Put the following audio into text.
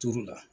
Turu la